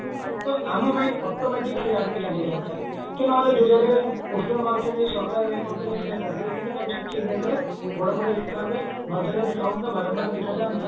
ତ ଆମ mind automatic ସେଇ ଆଡକୁ ଚାଲିଯାଆନ୍ତା କି ନହେଲେ ଯୋଉ ଜାଗାରେ ଯୋଉ poster ମାରୁଚନ୍ତି ଯୋଉ ସରକାର ଏଇଆ କରିଦେଲେ ସେଇଆ କରିଦେଲେ କିନ୍ତୁ ତାକୁ ସେଇ ଜାଗାରେ ବଡ ବଡ ହିସାବରେ ନଜରରେ ବାରମ୍ବାର ଦେଖାଯାଆନ୍ତା